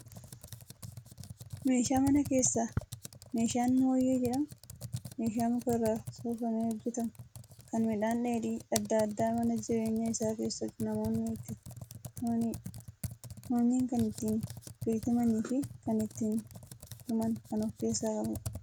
Meeshaa manaa keessaa, meeshaan mooyyee jedhamu, meeshaa muka irraa soofamee hojjetamu, kan midhaan dheedhii addaa addaa mana jireenyaa isaa keessatti namoonni itti tumanidha. Mooyyeen kan itti gadi tumanii fi kan ittiin tuman kan of keessaa qabudha.